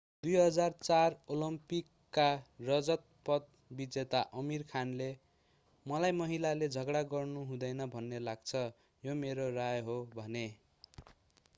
2004 ओलम्पिकका रजत पदक विजेता आमीर खानले मलाई महिलाले झगडा गर्नु हुँदैन भन्ने लाग्छ यो मेरो राय हो भने